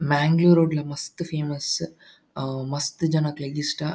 ಮ್ಯಾಂಗಳೂರ್ ಡ್ ಲ ಮಸ್ತ್ ಫೇಮಸ್ ಹಾ ಮಸ್ತ್ ಜನಕ್ಲೆಗ್ ಇಷ್ಟ.